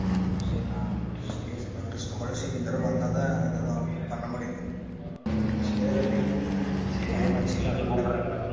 சேரி நான் கேட்டு பாக்குறன் scholarship இந்த தடவ வந்தா தான் ஏதாவது பண்ண முடியும், சேரி அபி சேரி வீட்டுல கூப்பிடுறாங்கடா.